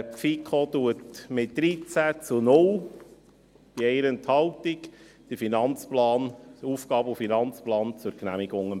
Die FiKo empfiehlt den AFP mit 13 zu 0 Stimmen bei 1 Enthaltung zur Genehmigung.